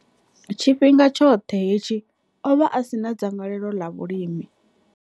Tshifhinga tshoṱhe hetshi, o vha a si na dzangalelo ḽa vhulimi.